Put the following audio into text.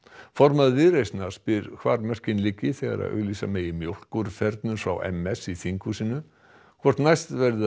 formaður Viðreisnar spyr hvar mörkin liggi þegar auglýsa megi mjólkurfernur frá m s í þinghúsinu hvort næst verði